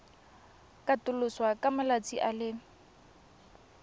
katoloswa ka malatsi a le